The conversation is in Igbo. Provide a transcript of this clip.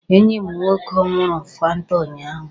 Enyi m nwoke ṅụrụ fanta ụnyaahụ.